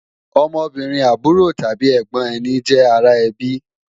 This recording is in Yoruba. Ọmọbìnrin àbúrò tàbí ẹ̀gbọ̀n ẹni jẹ́ ara ẹbí